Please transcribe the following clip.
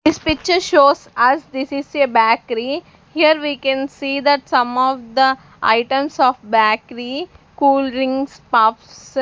This picture shows us this is a bakery here we can see that some of the items of bakery cool drinks puffs.